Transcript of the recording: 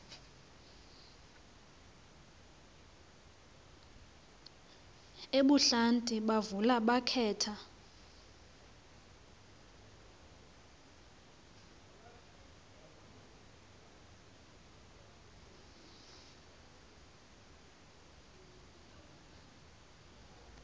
ebuhlanti bavula bakhetha